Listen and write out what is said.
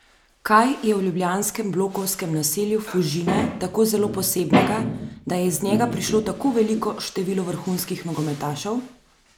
Kaj je v ljubljanskem blokovskem naselju Fužine tako zelo posebnega, da je iz njega prišlo tako veliko število vrhunskih nogometašev?